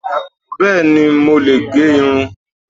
Bẹ́ẹ̀ni, mo lè gẹ irun